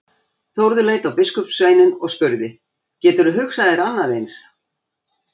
Þórður leit á biskupssveininn og spurði:-Geturðu hugsað þér annað eins?!